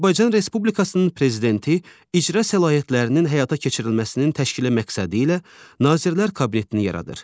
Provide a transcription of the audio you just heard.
Azərbaycan Respublikasının Prezidenti icra səlahiyyətlərinin həyata keçirilməsinin təşkili məqsədi ilə Nazirlər Kabinetini yaradır.